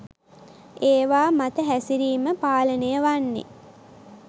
ඒවා මත හැසිරීම පාලනය වන්නෙ